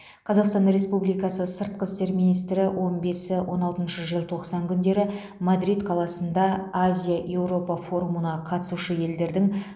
қазақстан республикасы сыртқы істер министрі он бесі он алтыншы желтоқсан күндері мадрид қаласында азия еуропа форумына қатысушы елдердің